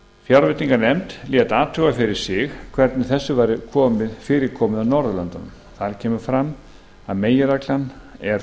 fjárveitinganefnd lét athuga fyrir sig hvernig þessu væri fyrir komið á norðurlöndunum þar kemur fram að meginreglan er